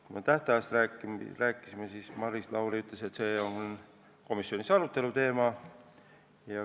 Kui me tähtajast rääkisime, siis Maris Lauri ütles, et see on komisjoni arutelu teema.